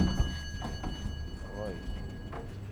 рой